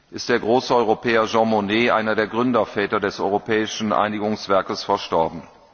ist der große Europäer Jean Monnet, einer der Gründerväter des Europäischen Einigungswerkes, verstorben.